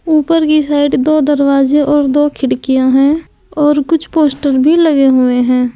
ऊपर की साइड दो दरवाजे और दो खिड़कियां हैं और कुछ पोस्टर भी लगे हुए हैं।